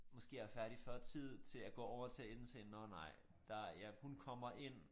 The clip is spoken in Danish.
Måske jeg er færdig før tid til at gå over til at indse nårh nej der jeg hun kommer ind